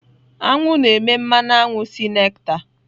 Aṅụ na-eme mmanụ aṅụ si nectar.